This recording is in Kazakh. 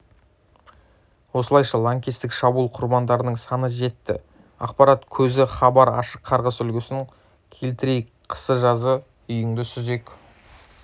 осылайша лаңкестік шабуыл құрбандарының саны жетті ақпарат көзі хабар ашық қарғыс үлгісін келтірейік қысы-жазы үйіңді сүзек